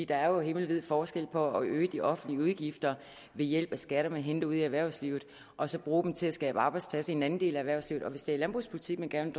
der er jo himmelvid forskel på at øge de offentlige udgifter ved hjælp af skatter man henter ude i erhvervslivet og så at bruge dem til at skabe arbejdspladser i en anden del af erhvervslivet hvis det er landbrugspolitik man gerne